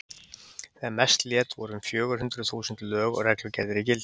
Þegar mest lét voru um fjögur hundruð þúsund lög og reglugerðir í gildi.